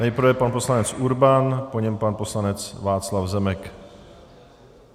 Nejprve pan poslanec Urban, po něm pan poslanec Václav Zemek.